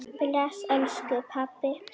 Bless elsku pabbi.